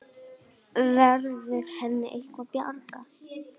Verður henni eitthvað bjargað?